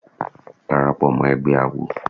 Dàràpọ̀ mọ́ ẹgbẹ́ àwo.